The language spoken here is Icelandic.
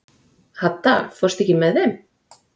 Hadda, ekki fórstu með þeim?